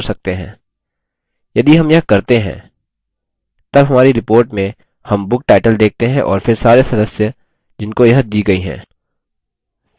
यदि हम यह करते हैं तब हमारी report में हम book title देखते हैं और फिर सारे सदस्य जिनको यह दी गयी है